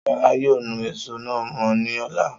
Solá yóò nu èso náà mọ́ ni ọ̀la.